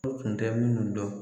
U tun tɛ minnu dɔn